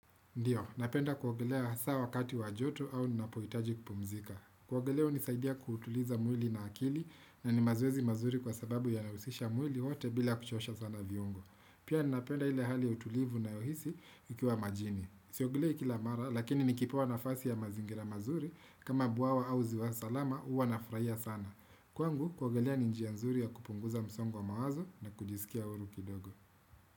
Ndiyo, napenda kuogelea hasa wakati wa joto au ninapohitaji kupumzika. Kuogelea hunisaidia kutuliza mwili na akili na ni mazoezi mazuri kwa sababu yanahusisha mwili wato bila kuchosha sana viungo. Pia napenda ile hali ya utulivu ninayohisi nikiwa majini. Siogelei kila mara lakini nikipewa nafasi ya mazingira mazuri kama bwawa au ziwa salama huwa nafurahia sana. Kwangu, kuogelea ni njia nzuri ya kupunguza msongo wa mawazo na kujisikia huru kidogo.